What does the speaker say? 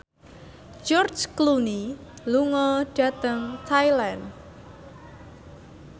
George Clooney lunga dhateng Thailand